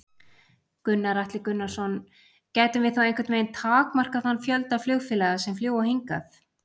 Gunnar Atli Gunnarsson: Gætum við þá einhvern veginn takmarkað þann fjölda flugfélaga sem fljúga hingað?